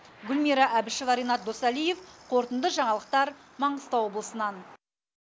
гүлмира әбішева ренат досалиев қорытынды жаңалықтар маңғыстау облысынан